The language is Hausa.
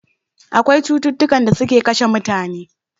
Akwai cututtukan da suke kashe mutane